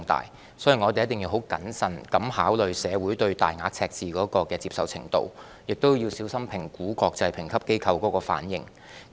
因此，我們一定要十分謹慎考慮社會對大額赤字的接受程度，亦要小心評估國際評級機構的反應。